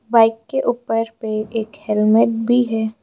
Bike के ऊपर पर एक हेलमेट भी है।